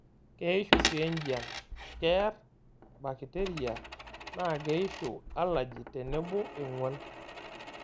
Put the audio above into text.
Keyishu sii enjian, keer bakiteria naa keishu alaji tenebo eng'uan.